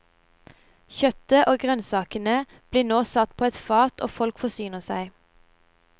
Kjøttet og grønnsakene blir nå satt på et fat og folk forsyner seg.